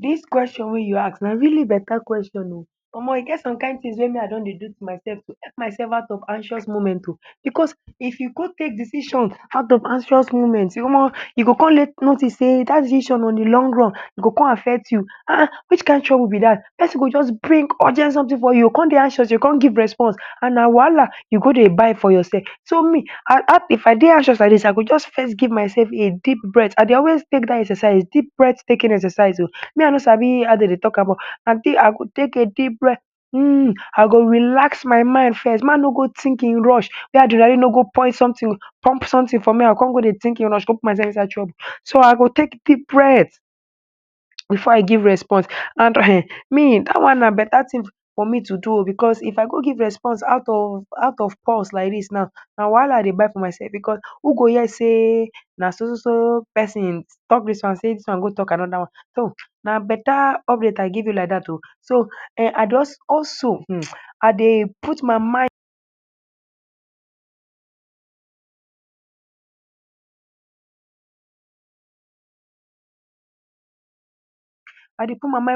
Dis question wey you ask na really better question ooo! Omo, you get some kind things wey me I don dey do to myself to help myself out of anxious moment ooo. Because if you go take decision out of anxious moment omo, you go come notice sey dat decision on de long run go come affect you. Ah ah, which kind trouble be dat? Persin go just bring urgent something for you, you go come dey anxious, you go come give response, and na wahala you go dey buy for yourself. So me, I have if I dey anxious like dis, I go just first give myself a deep breath. I dey always take dat exercise, deep breath-taking exercise ooo. Me, I no sabi how dem dey talk about am ooo, um I go take a deep breath, hmm, I go relax my mind first. Make, I no go think in rush, make adrenaline no go pump something, pump something for me, I go come dey think in rush, go put myself inside trouble? So I go take deep breath before I give response. And um, me, dat one na better thing for me to do ooo. Because if I go give response out of pulse like dis now, na wahala I dey buy for myself. Because who go hear sey na so so so persin talk dis one, sey dis one go talk anoda one? So na better update I give you like dat ooo. So um, I just also um, I dey put my mind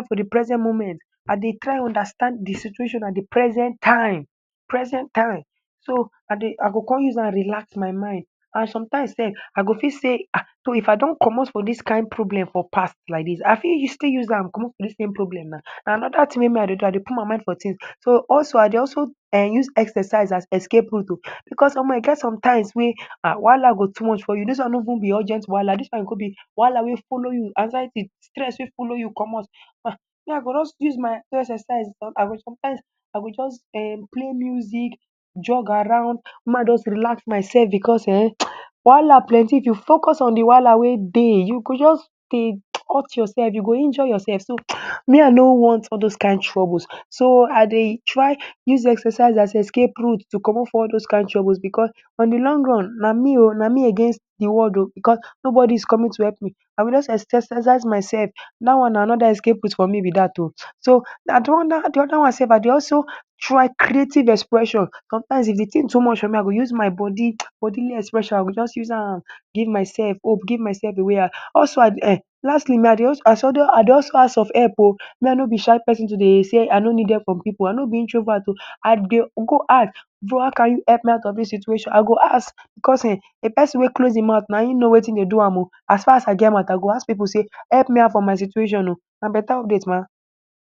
for de present moment. I dey try understand de situation at de present time, present time. So I dey, I go come use am relax my mind. And sometimes sef, I go fit sey ah, so if I don comot for dis kind problem for past like dis, I fit still use am comot for dis same problem now na anoda thing wey me I dey do, I dey put my mind for things. So also, I dey also um use exercise as escape route ooo. Because omo, e get sometimes wey um, wahala go too much for you. Dis one no even be urgent wahala, dis one go be wahala wey follow you anxiety, stress wey follow you comot um. Me, I go just use my exercise, I go sometimes I go just um play music, jog around, make I just relax myself. Because um, um wahala plenty, if you focus on de wahala wey dey, you go just dey hurt yourself, you go injure yourself. So [um]me, I no want all those kind troubles. So I dey try use exercise as escape route to comot for all those kind troubles. Because on de long run, na me ooo, na me against de world ooo. Because nobody is coming to help me, I go just exercise myself. Dat one na anoda escape route for me be dat ooo. So?, de other one sef, I dey also try creative expression sometimes. If de thing too much for me, I go use my body bodily expression. I go just use am give myself hope, give myself away um. Also, I um lastly, me I dey also I also dey ask for help ooo. Me, I no be shy persin to dey sey I no need help from pipu. I no be introvert ooo. I dey go ask bro, how you go help me out of dis situation? I go ask because um, de persin wey close im mouth na im no wetin dey do am ooo. As far as I get mouth, I go ask pipu sey help me out for my situation ooo. Na better update ma!